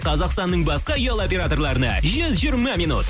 қазақстанның басқа ұялы операторларына жүз жиырма минут